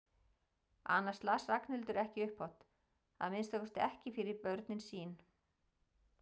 Annars las Ragnhildur ekki upphátt, að minnsta kosti ekki fyrir börnin sín.